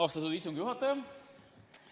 Austatud istungi juhataja!